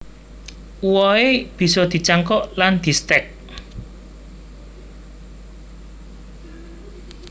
Uwohe bisa dicangkok lan distek